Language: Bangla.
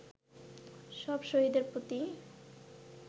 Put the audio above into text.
সব শহীদের প্রতি